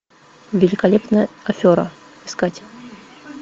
великолепная афера искать